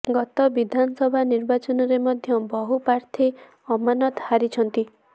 ଗତ ବିଧାନସଭା ନିର୍ବାଚନରେ ମଧ୍ୟ ବହୁ ପ୍ରାର୍ଥୀ ଅମାନତ ହାରିଛନ୍ତି